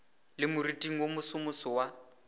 le moriting wo mosomoso wa